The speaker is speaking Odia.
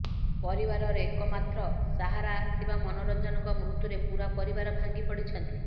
ପରିବାରର ଏକମାତ୍ର ସାହାରା ଥିବା ମନୋରଞ୍ଜନଙ୍କ ମୃତ୍ୟୁରେ ପୁରା ପରିବାର ଭାଙ୍ଗିପଡ଼ିଛନ୍ତି